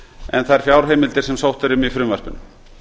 en þær fjárheimildir sem sótt er um í frumvarpinu